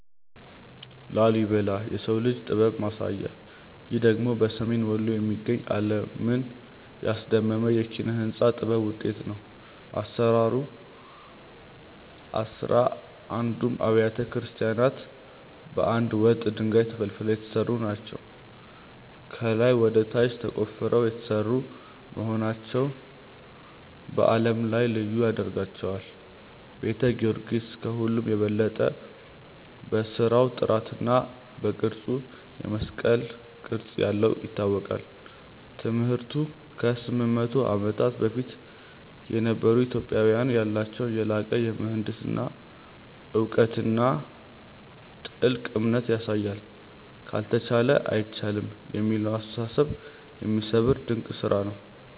ላሊበላ (Lalibela) - "የሰው ልጅ ጥበብ ማሳያ" ይህ ደግሞ በሰሜን ወሎ የሚገኝ፣ ዓለምን ያስደመመ የኪነ-ሕንጻ ጥበብ ውጤት ነው። አሰራሩ፦ አሥራ አንዱም አብያተ ክርስቲያናት ከአንድ ወጥ ድንጋይ (Monolithic) ተፈልፍለው የተሰሩ ናቸው። ከላይ ወደ ታች ተቆፍረው የተሰሩ መሆናቸው በዓለም ላይ ልዩ ያደርጋቸዋል። ቤተ ጊዮርጊስ፦ ከሁሉም በበለጠ በሥራው ጥራትና በቅርጹ (የመስቀል ቅርጽ ያለው) ይታወቃል። ትምህርቱ፦ ከ800 ዓመታት በፊት የነበሩ ኢትዮጵያውያን ያላቸውን የላቀ የምህንድስና እውቀትና ጥልቅ እምነት ያሳያል። "ካልተቻለ አይቻልም" የሚለውን አስተሳሰብ የሚሰብር ድንቅ ስራ ነው።